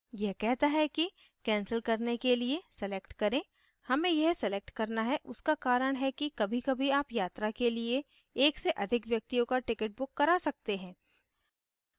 यह कहता है cancel करने के लिए select करें हमें यह select करना है उसका कारण है कि कभीकभी आप यात्रा के लिए एक से अधिक व्यक्तियों का ticket book करा सकते हैं